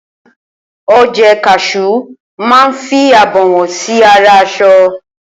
oje kasú ma ń fí abawon sí ara aṣọ